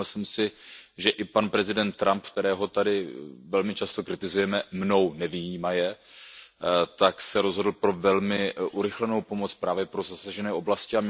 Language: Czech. Všiml jsem si, že i pan prezident Trump, kterého tady velmi často kritizujeme, mnou nevyjímaje, se rozhodl pro velmi urychlenou pomoc právě pro zasažené oblasti.